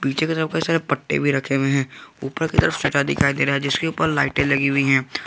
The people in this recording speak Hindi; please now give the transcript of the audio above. नीचे के तरफ कई सारे पट्टे भी रखे हुए हैं ऊपर की तरफ सटा दिखाई दे रहा है जिसके ऊपर लाइटें लगी हुई है।